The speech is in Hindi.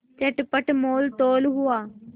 चटपट मोलतोल हुआ